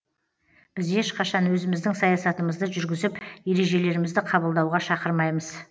біз ешқашан өзіміздің саясатымызды жүргізіп ережелерімізді қабылдауға шақырмаймыз